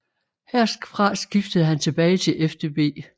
Herfra skiftede han tilbage til FDB